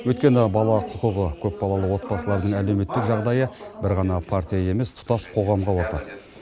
өйткені бала құқығы көпбалалы отбасылардың әлеуметтік жағдайы бір ғана партия емес тұтас қоғамға ортақ